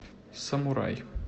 самурай